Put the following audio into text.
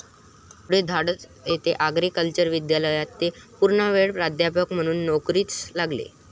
पुढे धारवाड येथे आग्रिकल्चरल महाविद्यालयात ते पूर्णवेळ प्राध्यापक म्हणून नोकरीस लागले.